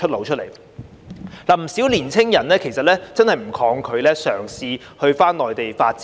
事實上，有不少年青人其實真的不抗拒返回內地發展。